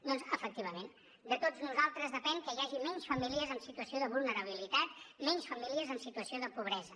doncs efectivament de tots nosaltres depèn que hi hagi menys famílies en situació de vulnerabilitat menys famílies en situació de pobresa